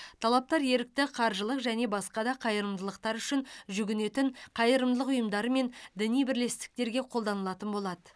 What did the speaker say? талаптар ерікті қаржылық және басқа да қайырымдылықтар үшін жүгінетін қайырымдылық ұйымдары мен діни бірлестіктерге қолданылатын болады